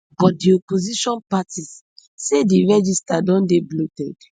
but di opposition parties say di register don dey bloated